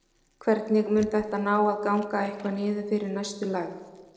Hvernig, mun þetta ná að ganga eitthvað niður fyrir næstu lægð?